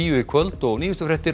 í kvöld og nýjustu fréttir